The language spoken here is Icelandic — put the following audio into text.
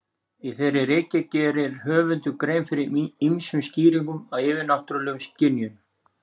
Í þeirri ritgerð gerir höfundur grein fyrir ýmsum skýringum á yfirnáttúrulegum skynjunum.